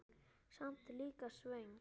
Samt líka svöng.